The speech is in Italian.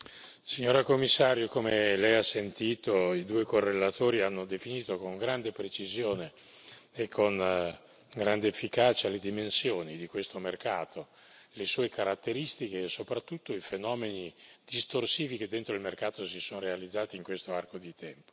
Signor Presidente, onorevoli colleghi, signora commissario, come Lei ha sentito i due correlatori hanno definito con grande precisione e con grande efficacia le dimensioni di questo mercato, le sue caratteristiche e soprattutto i fenomeni distorsivi che dentro il mercato si sono realizzati in questo arco di tempo.